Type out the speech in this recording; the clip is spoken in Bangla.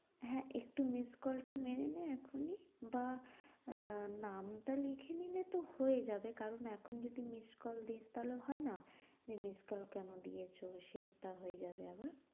হ্যাঁ একটু miss call টা নে এখনি বা আহ নামটা লিখে নিলে তো হয়ে যাবে কারণ এখন যদি miss call দিস তাহলে হয় না যে miss call কেন দিয়েছ সেটা হয়ে যাবে আবার।